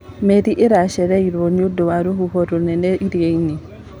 Meri iracereirwo nĩũndũ wa rũhuho rũnene irianĩ.